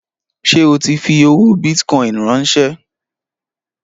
Ṣé o tí fi owó bìtìcoin ránsẹ́?